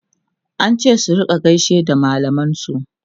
an ce su rinka gaishe da mallaman su